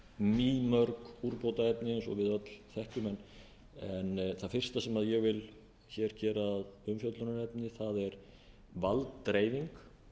úrbótaefni eins og við öll þekkjum en það fyrsta sem ég vil hér gera að umfjöllunarefni er valddreifing